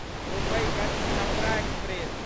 मुम्बई कस्ट छपरा एक्सप्रेस